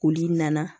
Olu nana